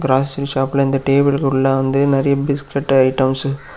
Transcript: டிராஸ்டிங் ஷாப்ல இந்த டேபிள் குள்ள வந்து நெறியா பிஸ்கட் ஐட்டம்ஸ் .